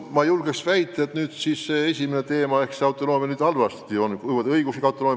Ma julgen väita, et autonoomiaga kõik nüüd halvasti küll ei ole.